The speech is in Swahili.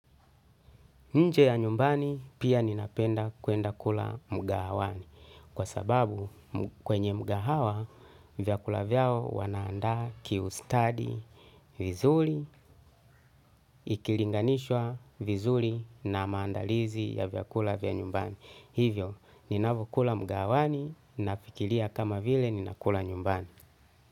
Nje ya nyumbani, pia ninapenda kuenda kula mkahawani. Kwa sababu, kwenye mkahawa, vyakula vyao wanaanda kiustadi vizuri, ikilinganishwa vizuri na maandalizi ya vyakula vya nyumbani. Hivyo, ninapokula mkahawani, nafikiria kama vile ninakula nyumbani.